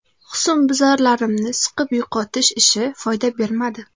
Husnbuzarlarimni siqib yo‘qotish ishi foyda bermadi.